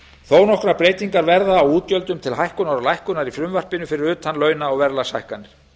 þó nokkrar breytingar verða á útgjöldum til hækkunar og lækkunar í frumvarpinu fyrir utan launa og verðlagshækkanir